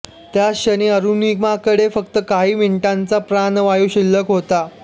त्याक्षणी अरुणिमाकडे फक्त काही मिनिटांचा प्राणवायू शिल्लक होता